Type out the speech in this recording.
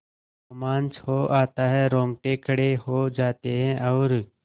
रोमांच हो आता है रोंगटे खड़े हो जाते हैं और